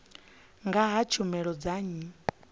nga ha tshumelo dza nnyi